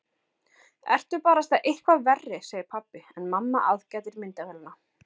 Ertu barasta eitthvað verri, segir pabbi en mamma aðgætir myndavélina.